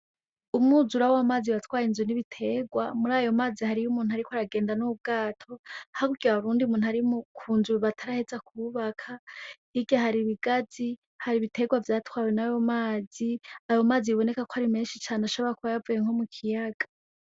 Umwuzura w'amazi watwaye inzu n'ibiterwa, murayo mazi hariyo umuntu ariko aragenda n'ubwato, hakurya hari n'uyundi muntu ari kunzu bataraheza kubaka, hirya hari ibigazi hari ibiterwa vyatwawe nayo mazi, ayo mazi biboneka ko ari menshi biboneka ko yoba yavuye nko m'ikiyaga.